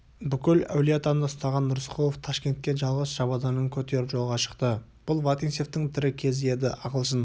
бүкіл әулиеатаны ұстаған рысқұлов ташкентке жалғыз шабаданын көтеріп жолға шықты бұл вотинцевтің тірі кезі еді ағылшын